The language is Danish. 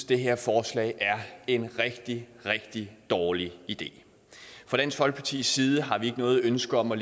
det her forslag er en rigtig rigtig dårlig idé fra dansk folkepartis side har vi ikke noget ønske om at